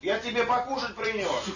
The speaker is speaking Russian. я тебе покушать принёс